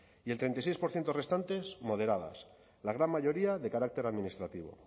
y el treinta y seis por ciento restantes moderadas la gran mayoría de carácter administrativo